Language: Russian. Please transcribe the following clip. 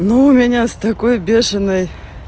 ну у меня с такой бешеной